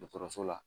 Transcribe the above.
Dɔgɔtɔrɔso la